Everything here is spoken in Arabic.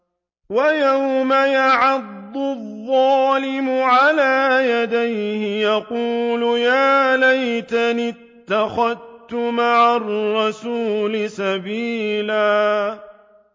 وَيَوْمَ يَعَضُّ الظَّالِمُ عَلَىٰ يَدَيْهِ يَقُولُ يَا لَيْتَنِي اتَّخَذْتُ مَعَ الرَّسُولِ سَبِيلًا